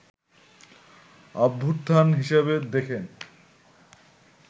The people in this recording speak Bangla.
অভ্যুত্থান হিসেবে দেখেন